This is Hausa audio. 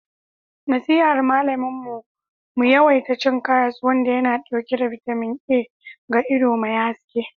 nasihar malamin mu mu yawaita cin karas wanda yana dauke da bitamin A ga ido mai haske